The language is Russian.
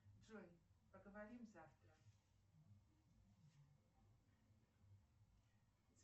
джой поговорим завтра